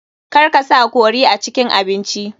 Kar ka sa curry a cikin abinci.